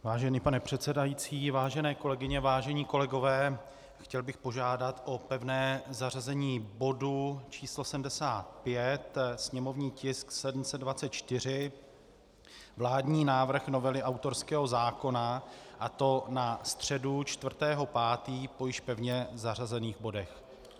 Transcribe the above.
Vážený pane předsedající, vážené kolegyně, vážení kolegové, chtěl bych požádat o pevné zařazení bodu číslo 75, sněmovní tisk 724, vládní návrh novely autorského zákona, a to na středu 4. 5. po již pevně zařazených bodech.